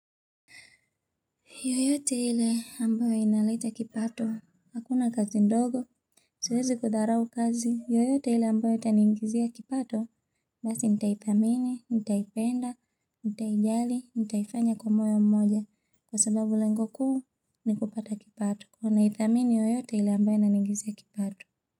Yoyote ile ambayo inaleta kipato. Hakuna kazi ndogo. Siwezi kudharau kazi. Yoyote ile ambayo itaniingizia kipato. Basi nitaithamini, nitaipenda, nitaijali, nitaifanya kwa moyo mmoja. Kwa sababu lengo kuu ni kupata kipato. Kwa naithamini yoyote ile ambayo inaniongezea kipato.